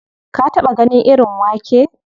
Ka taɓa ganin irin wake?